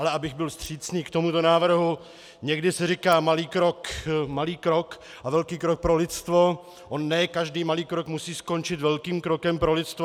Ale abych byl vstřícný k tomuto návrhu, někdy se říká malý krok a velký krok pro lidstvo, on ne každý malý krok musí skončit velkým krokem pro lidstvo.